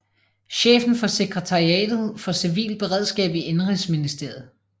Chefen for sekretariatet for civilt beredskab i indenrigsministeriet